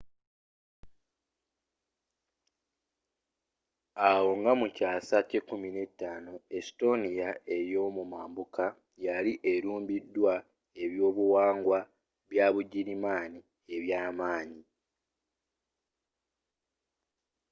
awo nga mukyaasa kya 15th estonia eyomumambuka yali elumbiddwa ebyobuwangwa byabugirimaani ebyamanyi